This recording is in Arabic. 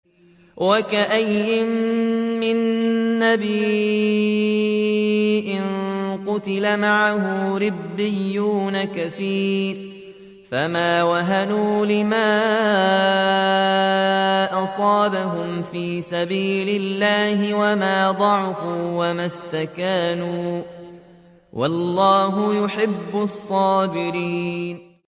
وَكَأَيِّن مِّن نَّبِيٍّ قَاتَلَ مَعَهُ رِبِّيُّونَ كَثِيرٌ فَمَا وَهَنُوا لِمَا أَصَابَهُمْ فِي سَبِيلِ اللَّهِ وَمَا ضَعُفُوا وَمَا اسْتَكَانُوا ۗ وَاللَّهُ يُحِبُّ الصَّابِرِينَ